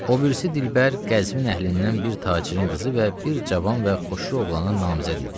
O birisi Dilbər Qəzvin əhlindən bir tacirin qızı və bir cavan və xoşulu oğlana namizəd idi.